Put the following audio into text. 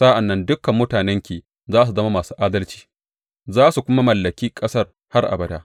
Sa’an nan dukan mutanenki za su zama masu adalci za su kuma mallaki ƙasar har abada.